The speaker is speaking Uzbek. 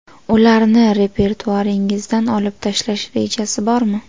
Ularni repertuaringizdan olib tashlash rejasi bormi?